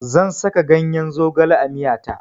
Zan saka ganyar zogale a miya ta.